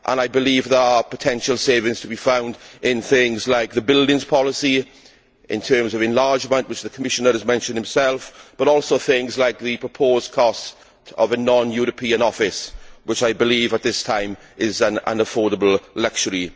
I believe there are potential savings to be found in things like the buildings policy and in terms of enlargement which the Commissioner has mentioned himself but also in things like the proposed cost of a non European office, which I believe at this time is an unaffordable luxury.